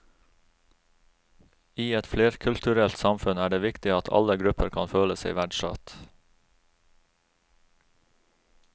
I et flerkulturelt samfunn er det viktig at alle grupper kan føle seg verdsatt.